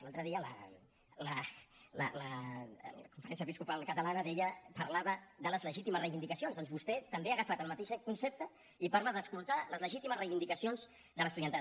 l’altre dia la conferència episcopal catalana parlava de les legítimes reivindicacions doncs vostè també ha agafat el mateix concepte i parla d’escoltar les legítimes reivindicacions de l’estudiantat